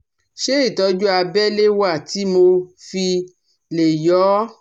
Ṣé ìtọ́jú abẹ́lé wà tí mo fi lè yọ́ ọ